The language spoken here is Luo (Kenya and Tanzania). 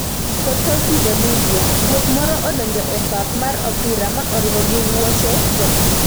Potosi Bolivia: Guok moro odonjo e pap mar opira ma oringo gi wuoch jatugo,